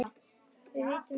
Við vitum ekki af því.